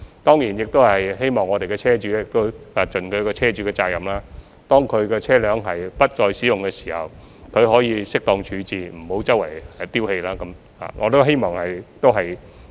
當然，我們亦希望車主盡車主的責任，當他們的車輛不再使用時，應作適當處置，不要四處棄置。